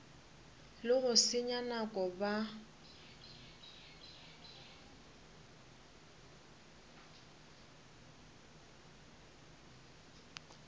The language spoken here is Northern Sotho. le go senya nako ba